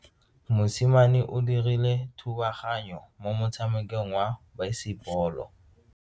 Mosimane o dirile thubaganyo mo motshamekong wa basebolo.